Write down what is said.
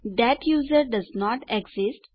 that user doesn't exist